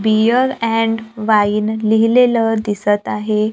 Beer and wine लिहिलेलं दिसत आहे.